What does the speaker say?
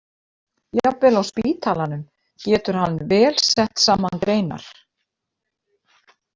Jafnvel á spítalanum getur hann vel sett saman greinar.